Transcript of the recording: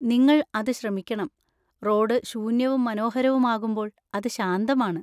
നിങ്ങൾ അത് ശ്രമിക്കണം; റോഡ് ശൂന്യവും മനോഹരവുമാകുമ്പോൾ അത് ശാന്തമാണ്.